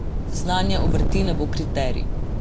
Znanje obrti ne bo kriterij.